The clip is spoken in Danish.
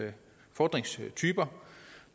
fordringstyper